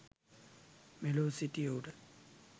මෙලොව සිටියහුට